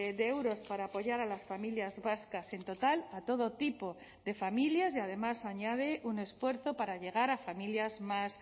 de euros para apoyar a las familias vascas en total a todo tipo de familias y además añade un esfuerzo para llegar a familias más